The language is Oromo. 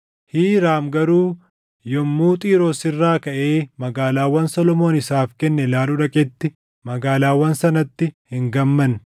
Hiiraam garuu yommuu Xiiroos irraa kaʼee magaalaawwan Solomoon isaaf kenne ilaaluu dhaqetti magaalaawwan sanatti hin gammanne.